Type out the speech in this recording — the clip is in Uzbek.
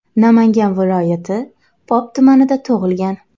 Namangan viloyati Pop tumanida tug‘ilgan.